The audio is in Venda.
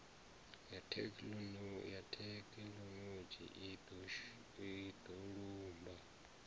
ya thekhinoḽodzhi i do lumba